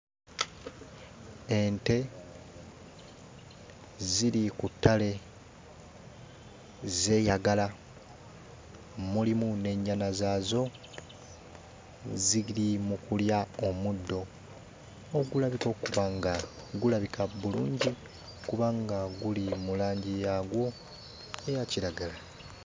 Ente ziri ku ttale zeeyagala mulimu n'ennyana zaazo zigiri mu kulya omuddo ogulabika okuba nga gulabika bulungi kubanga guli mu langi yaagwo eya kiragala.